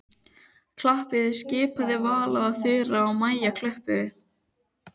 Klappiði skipaði Vala og Þura og Maja klöppuðu.